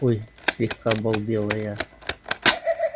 ой слегка обалдела я